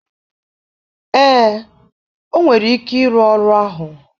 ee, o nwere ike ịrụ ọrụ ahụ.